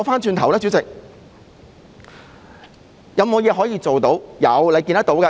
主席，有甚麼可以做呢？